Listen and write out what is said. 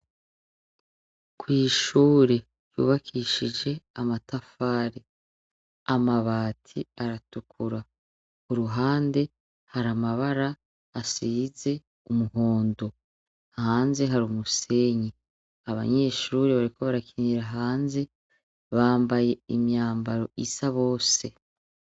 ku ishure ryubakishije amatafare amabati aratukura uruhande hari amabara asize umuhondo hanze hari umusenyi abanyeshuri bariko barakinira hanze bambaye imyambaro isa bose